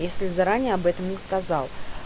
если заранее об этом не сказал